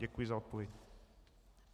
Děkuji za odpověď.